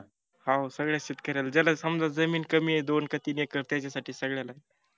हा सगळ्याच शेतक-याला ज्याला समजा जमीन कमीय दोन का तीन एकर त्याच्यासाठी सगळ्यालाय